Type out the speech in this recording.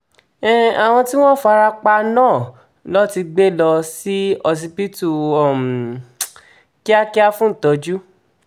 um àwọn tí wọ́n fara pa náà lọ ni wọ́n ti gbé lọ sí ọsibítù um kíákíá fún ìtọ́jú